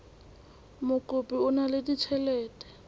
mokopi o na le ditjhelete